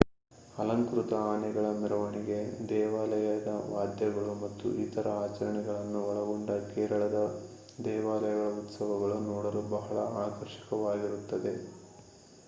ಅಲಂಕೃತ ಆನೆಗಳ ಮೆರವಣಿಗೆ ದೇವಾಲಯದ ವಾದ್ಯಗಳು ಮತ್ತು ಇತರ ಆಚರಣೆಗಳನ್ನು ಒಳಗೊಂಡ ಕೇರಳದ ದೇವಾಲಯಗಳ ಉತ್ಸವಗಳು ನೋಡಲು ಬಹಳ ಆಕರ್ಷಕವಾಗಿರುತ್ತದೆ